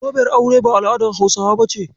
Zoben aure ba al'adar Hausawa bace.